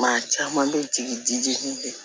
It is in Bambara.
Maa caman bɛ jigin dijini bɛ